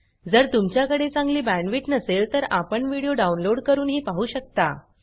जर तुमच्याकडे चांगली बॅंडविड्त नसेल तर व्हिडीओ डाउनलोड करूनही पाहू शकता